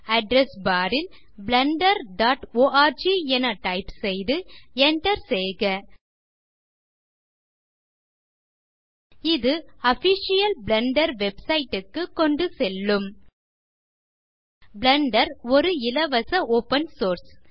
address bar ல் wwwblenderorg என type செய்து Enter செய்க இது ஆஃபிஷியல் பிளெண்டர் Websiteக்கு கொண்டுசெல்லும் பிளெண்டர் ஒரு இலவச ஒப்பன் சோர்ஸ்